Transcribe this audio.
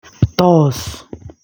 Toos